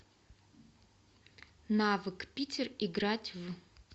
навык питер играть в